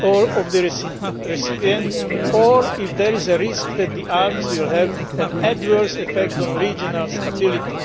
of the recipient or if there is a risk that the arms will have an adverse effect on regional stability.